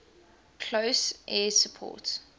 close air support